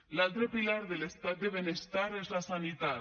l’altre pilar de l’estat de benestar és la sanitat